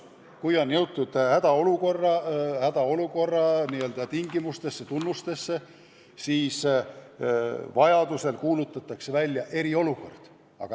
Kui on jõutud hädaolukorra tunnuste avaldumiseni, siis vajadusel kuulutatakse välja eriolukord.